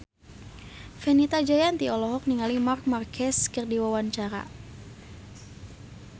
Fenita Jayanti olohok ningali Marc Marquez keur diwawancara